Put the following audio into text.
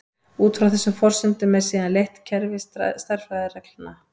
Út frá þessum forsendum er síðan leitt kerfi stærðfræðireglna.